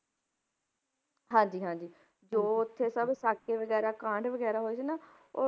ਹਾਂਜੀ ਹਾਂਜੀ ਜੋ ਉੱਥੇ ਸਭ ਸਾਕੇ ਵਗ਼ੈਰਾ ਕਾਂਡ ਵਗ਼ੈਰਾ ਹੋਏ ਸੀ ਉਹ